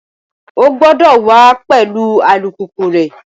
O gbọ́dọ̀ wà á pẹ̀lú alùpùpù rẹ